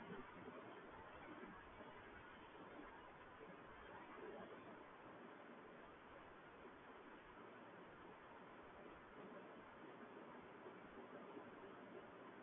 બરોબર